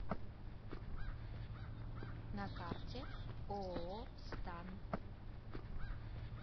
на карте ооо стан